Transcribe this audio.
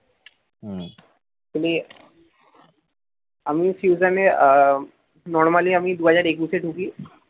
actually আমি ফিউশনে আহ normally আমি দু হাজার একুশ এ ঢুকি